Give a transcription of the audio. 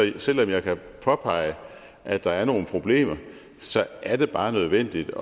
selv om jeg kan påpege at der er nogle problemer er det bare nødvendigt